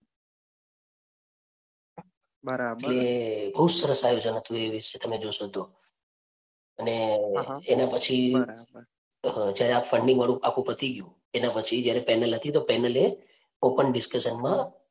કે બહુ સરસ આયોજન હતું એ વિશે તમે જોશો તો. અને એના પછી જ્યારે આ funding વાળું આખું પતી ગયું એના પછી જ્યારે panel હતી તો panel એ open discussion માં